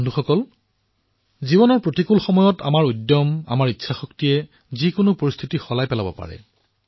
বন্ধুসকল জীৱনৰ প্ৰতিকূল সময়ত আমাৰ উৎসাহ আমাৰ ইচ্ছাশক্তিয়ে যিকোনো পৰিস্থিতি পৰিৱৰ্তন কৰিব পাৰে